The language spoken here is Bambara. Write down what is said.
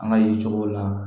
An ka ye cogow la